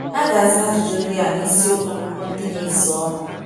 A ga - aza ajụjụ ndị a n’isiokwu akuko ndị na -- esonụ.